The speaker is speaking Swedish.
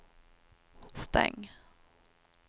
stäng